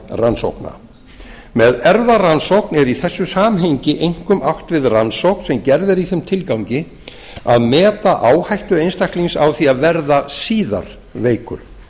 erfðarannsókna með erfðarannsókn er í þessu samhengi einkum átt við rannsókn sem gerð er í þeim tilgangi að meta áhættu einstaklings á því að verða síðar veikur